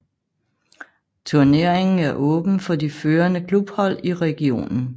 Turneringen er åben for de førende klubhold i regionen